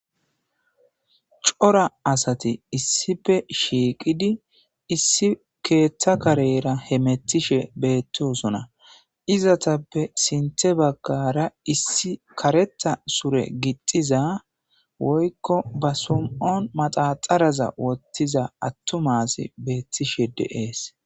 Cora asati issife shiiqidi issi keeththa karera he mettishe beettosona izatappe sinthe baggara issi kareta sure gixxiza woykko ba sum7on maxaxaraza wottiza attomasi beettishe deees.